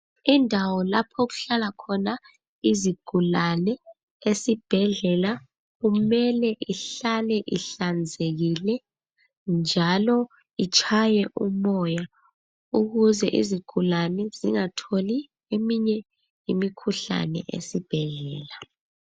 Indawo lapha okuhlala khona izigulane esibhedlela, kumele ihlale ihlanzekile njalo itshaye umoya ukuze izigulane zingatholi eminye imikhuhlane esibhedlela.